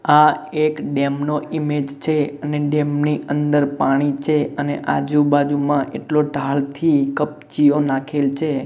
આ એક ડેમ નો ઇમેજ છે અને ડેમ ની અંદર પાણી છે અને આજુ બાજુમાં એટલો ધાડથી કપચીઓ નાખેલ છે.